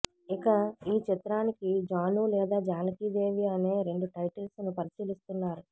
ఇక ఈ చిత్రానికి జాను లేదా జానకి దేవి అనే రెండు టైటిల్స్ ను పరిశీలిస్తున్నారు